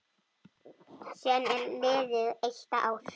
Síðan er liðið eitt ár.